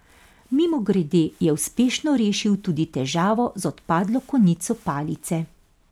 Mimogrede je uspešno rešil tudi težavo z odpadlo konico palice.